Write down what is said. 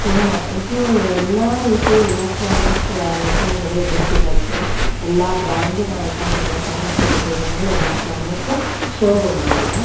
Chroma ಇದು ಎಲ್ಲಾ ರೀತಿಯ ಎಲೆಕ್ಟ್ರಾನಿಕ್ ಐಟಂಗಳು ಇಲ್ಲಿ ಸಿಗುತ್ತೆ ಎಲ್ಲಾ ಬ್ರಾಂಡಿನ ಐಟಂಗಳು ಸಹ ಸಿಗುತ್ತೆ ಇದೊಂದು ಎಲೆಕ್ಟ್ರಾನಿಕ್ ಶೋ ರೂಮ್ ಆಗಿದೆ.